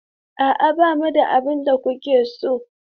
A'a, ba mu da abin da kuke so.